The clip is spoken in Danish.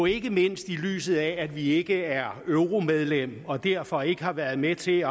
ikke mindst i lyset af at vi ikke er euromedlem og derfor ikke har været med til